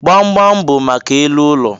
Gbamgbam bụ maka elu ụlọ